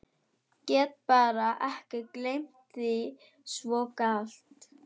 Get bara ekki gleymt því svo glatt.